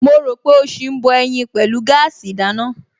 Mo rò pé ó ṣì ń bọ ẹyin pẹ̀lú gáàsì ìdáná